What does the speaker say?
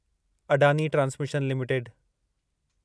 Adani transmission limited